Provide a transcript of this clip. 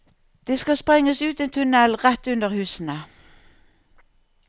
Det skal sprenges ut en tunnel rett under husene.